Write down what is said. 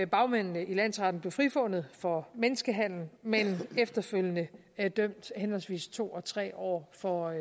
bagmændene i landsretten blev frifundet for menneskehandel men efterfølgende dømt henholdsvis to og tre år for